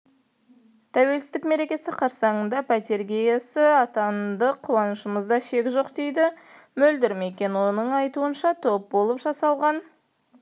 тәуелсіздік мерекесі қарсаңындапәтре иесі атандық қуанышымызда шек жоқ дейді мөлдір мекен оның айтуынша топ болып жасалған